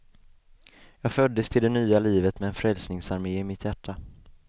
Jag föddes till det nya livet med en frälsningsarmé i mitt hjärta.